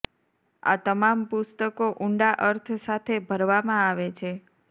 આ તમામ પુસ્તકો ઊંડા અર્થ સાથે ભરવામાં આવે છે